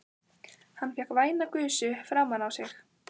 Hann fékk væna gusu framan á sig.